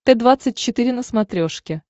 т двадцать четыре на смотрешке